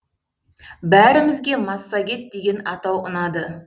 бәрімізге массагет деген атау ұнады